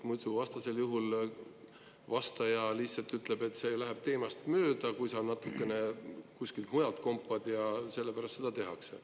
Muidu, vastasel juhul vastaja lihtsalt ütleb, et see läheb teemast mööda, kui sa natukene kuskilt mujalt kompad, sellepärast seda tehakse.